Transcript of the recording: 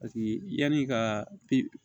Paseke yanni ka pe